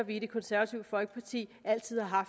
i det konservative folkeparti altid har